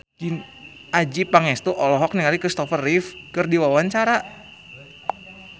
Adjie Pangestu olohok ningali Kristopher Reeve keur diwawancara